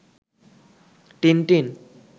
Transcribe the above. Tintin